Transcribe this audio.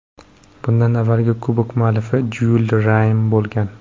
Bundan avvalgi kubok muallifi Jyul Rime bo‘lgan.